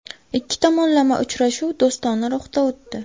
Ikki tomonlama uchrashuv do‘stona ruhda o‘tdi.